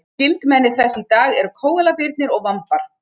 Skyldmenni þess í dag eru kóalabirnir og vambar.